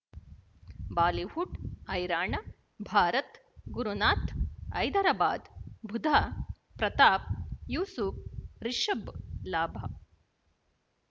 Bollywood ಹೈರಾಣ ಭಾರತ ಗುರುನಾಥ ಹೈದರಾಬಾದ್ ಬುಧ್ ಪ್ರತಾಪ್ ಯೂಸುಫ್ ರಿಷಬ್ ಲಾಭ